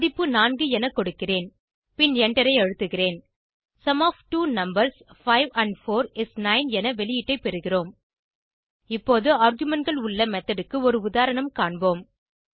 மதிப்பு 4 என கொடுக்கிறேன் பின் எண்டரை அழுத்துக sum of two numbers 5 and 4 is 9 என வெளியீட்டை பெறுகிறோம் இப்போது argumentகள் உள்ள மெத்தோட் க்கு ஒரு உதாரணம் காண்போம்